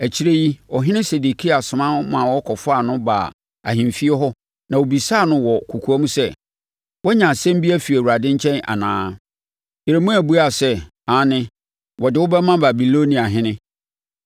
Akyire yi, ɔhene Sedekia soma ma wɔkɔfaa no baa ahemfie, ɛhɔ na ɔbisaa no wɔ kɔkoam sɛ, “Woanya asɛm bi afiri Awurade nkyɛn anaa?” Yeremia buaa sɛ, “Aane, wɔde wo bɛma Babiloniahene.”